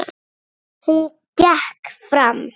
Hún gekk fram.